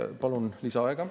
Palun lisaaega.